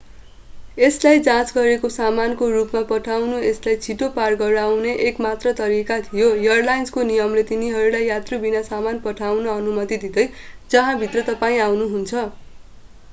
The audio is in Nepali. यसलाई जाँच गरेको सामानको रूपमा पठाउनु यसलाई छिटो पार गराउने एक मात्र तरीका थियो एयरलाइन्सको नियमले तिनीहरूलाई यात्रुबिना सामान पठाउन अनुमति दिँदैन जहाँभित्र तपाईं आउनुहुन्छ